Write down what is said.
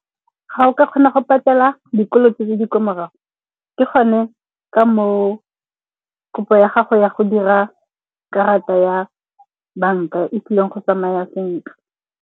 Ga o ka kgona go patela dikoloto tse di ko morago ke gone ka moo kopo ya gago ya go dira karata ya banka e tlileng go tsamaya sentle.